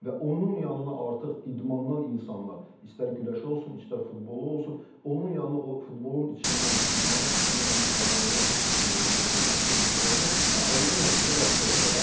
Və onun yanına artıq idmandan insanlar, istər güləşçi olsun, istər futbolçu olsun, onun yanına o futbolun içindən, idmanın içindən insanları yaxşı belə deyək, təşkil edib qoyanda, hə, onda nəticə yaxşı ola bilər.